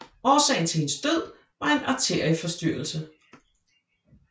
Årsagen til hendes død var en arterieforstyrrelse